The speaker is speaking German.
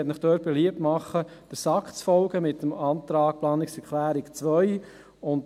Ich möchte Ihnen beliebt machen, dort der SAK mit der Planungserklärung 2 zu folgen.